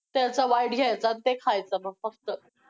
त्याचा white घ्यायचा ते खायचं मग फक्त!